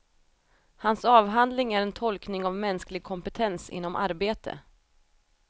Hans avhandling är en tolkning av mänsklig kompetens inom arbete.